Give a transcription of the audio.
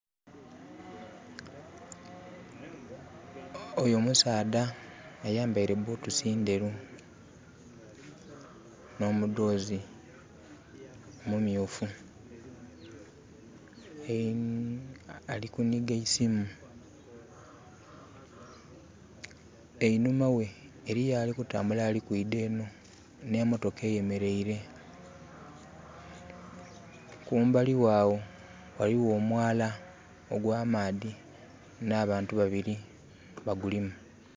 Oyo musaadha ayambaire butusi ndheru no mudoozi mumyufu. Ali kuniga eisimu. Einhuma ghe eriyo alikutambula ali kwidha eno nhe mmotoka eyemereire. Kumbali ghe agho ghaligho omwaala nha nbantu babiri bagulimu.